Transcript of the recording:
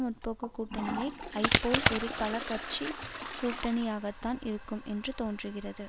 முற்போக்கு கூட்டணியை ஐப் போல் ஒரு பல கட்சி கூட்டணியாகத்தான் இருக்கும் என்று தோன்றுகிறது